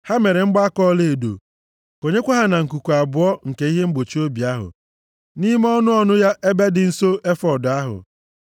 Ha mere mgbaaka ọlaedo. Konyekwa ha na nkuku abụọ nke ihe mgbochi obi ahụ, nʼime ọnụ ọnụ ya ebe dị nso efọọd ahụ.